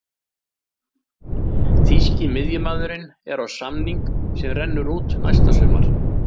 Þýski miðjumaðurinn er á samning sem rennur út næsta sumar.